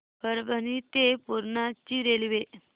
परभणी ते पूर्णा ची रेल्वे